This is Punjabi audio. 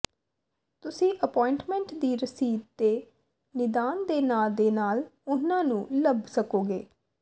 ਤੁਸੀਂ ਅਪੁਆਇੰਟਮੈਂਟ ਦੀ ਰਸੀਦ ਤੇ ਨਿਦਾਨ ਦੇ ਨਾਂ ਦੇ ਨਾਲ ਉਨ੍ਹਾਂ ਨੂੰ ਲੱਭ ਸਕੋਗੇ